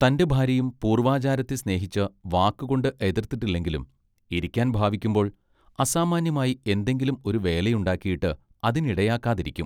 തന്റെ ഭാര്യയും പൂർവ്വാചാരത്തെ സ്നേഹിച്ച് വാക്കുകൊണ്ട് എതൃത്തിട്ടില്ലെങ്കിലും ഇരിക്കാൻ ഭാവിക്കുമ്പൊൾ അസാമാന്യമായി എന്തെങ്കിലും ഒരു വേലയുണ്ടാക്കിയിട്ട് അതിനിടയാകാതിരിക്കും.